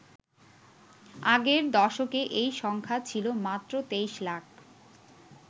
আগের দশকে এই সংখ্যা ছিল মাত্র ২৩ লাখ।